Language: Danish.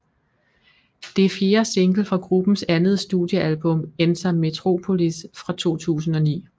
Det er fjerde single fra gruppens andet studiealbum Enter Metropolis fra 2009